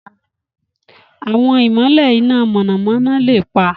Àwọn ìmọ̀lẹ̀ iná mọ̀nàmọ́ná lè pa.